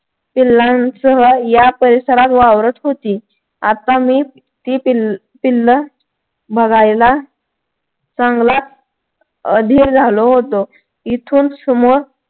पिल्लांसह या परिसरात वावरत होती आता मी ती पिल्लं बघायला चांगलाच अधीर झालो होतो इथून समोर